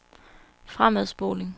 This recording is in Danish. fremadspoling